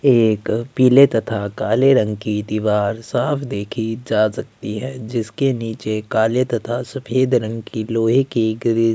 एक पीले तथा काले रंग की दीवार साफ़ देखी जा सकती है जिसके नीचे काले तथा सफ़ेद रंग की लोहे की ग्रीस --